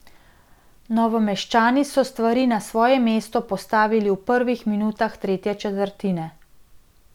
Novomeščani so stvari na svoje mesto postavili v prvih minutah tretje četrtine.